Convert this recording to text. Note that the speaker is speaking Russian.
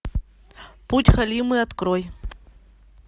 путь халимы открой